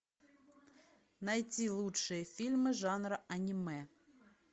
найти лучшие фильмы жанра аниме